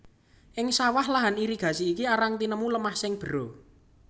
Ing sawah lahan irigasi iki arang tinemu lemah sing bera